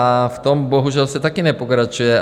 A v tom bohužel se taky nepokračuje.